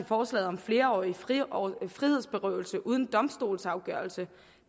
forslaget om flerårig frihedsberøvelse uden domstolsafgørelse